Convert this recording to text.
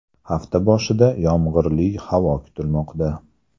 Hafta boshida yomg‘irli havo kutilmoqda.